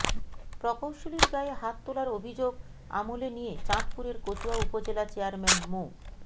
প্রকৌশলীর গায়ে হাত তোলার অভিযোগ আমলে নিয়ে চাঁদপুরের কচুয়া উপজেলা চেয়ারম্যান মো